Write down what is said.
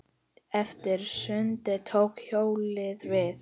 Eftir sundið tók hjólið við.